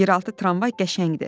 Yeraltı tramvay qəşəngdir.